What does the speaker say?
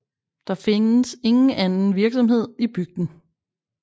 Der findes ingen andre virksomheder i bygden